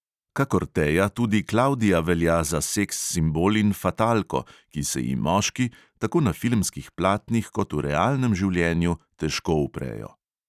Kakor teja tudi klavdija velja za seks simbol in fatalko, ki se ji moški, tako na filmskih platnih kot v realnem življenju, težko uprejo.